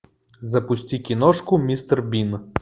запусти киношку мистер бин